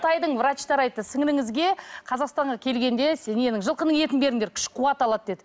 қытайдың врачтары айтты сіңліліңізге қазақстанға келгенде ненің жылқының етін беріңдер күш қуат алады деді